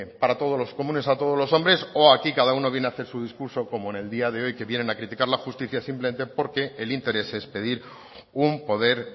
para todo los comunes a todos los hombres o aquí cada uno viene a hacer su discurso como en el día de hoy que vienen a criticar la justicia simplemente porque el interés es pedir un poder